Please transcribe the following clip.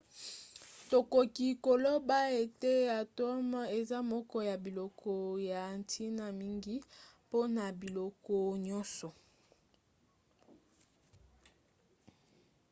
tokoki koloba ete atome eza moko ya biloko ya ntina mingi mpona biloko nyonso